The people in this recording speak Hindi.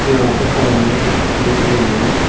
यहां पर सामने एक ए_टी_एम है।